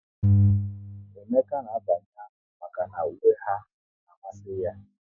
Emeka na abanye ami maka na uwe ha n'amasi ya